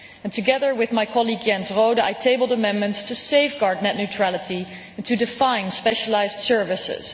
Together with my colleague, Jens Rohde, I tabled amendments to safeguard net neutrality and to define specialised services.